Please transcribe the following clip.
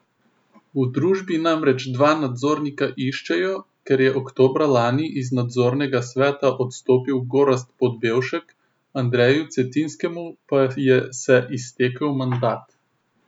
V družbi namreč dva nadzornika iščejo, ker je oktobra lani iz nadzornega sveta odstopil Gorazd Podbevšek, Andreju Cetinskemu pa je se iztekel mandat.